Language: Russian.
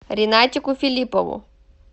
ринатику филиппову